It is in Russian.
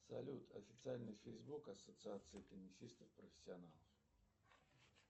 салют официальный фейсбук ассоциации теннисистов профессионалов